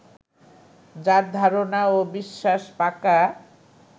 যাঁর ধারণা ও বিশ্বাস পাকা